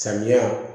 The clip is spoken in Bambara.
Samiya